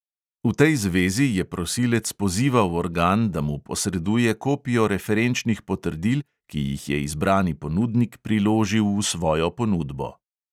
V tej zvezi je prosilec pozival organ, da mu posreduje kopijo referenčnih potrdil, ki jih je izbrani ponudnik priložil v svojo ponudbo.